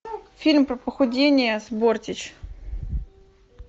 фильм про похудение с бортич